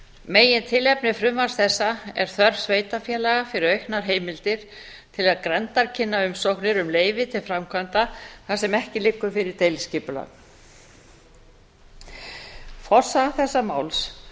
megintilefni frumvarps þess er þörf sveitarfélaga fyrir auknar heimildir til að grenndarkynna umsóknir um leyfi til framkvæmda þar sem ekki liggur fyrir deiliskipulag forsaga þessa máls